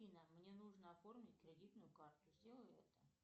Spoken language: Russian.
афина мне нужно оформить кредитную карту сделай это